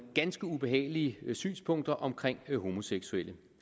ganske ubehagelige synspunkter om homoseksuelle